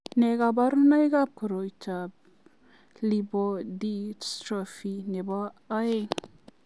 Nee kabarunoikab koroitoab Lipodystrophy nebo aeng'?